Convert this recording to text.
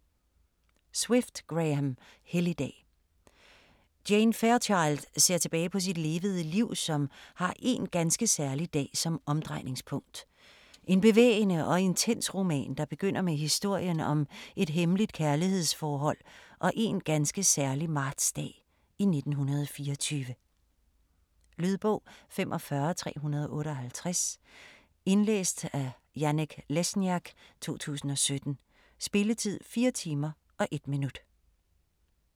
Swift, Graham: Helligdag Jane Fairchild ser tilbage på sit levede liv, som har én ganske særlig dag som omdrejningspunkt. En bevægende og intens roman, der begynder med historien om et hemmeligt kærlighedsforhold og én ganske særlig martsdag i 1924. Lydbog 45358 Indlæst af Janek Lesniak, 2017. Spilletid: 4 timer, 1 minut.